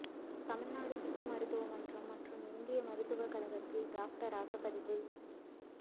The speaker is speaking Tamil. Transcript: தமிழ்நாடு சித்த மருத்துவ மன்றம் மற்றும்இந்திய மருத்துவக் கழகத்தில் டாக்டராக பதிவு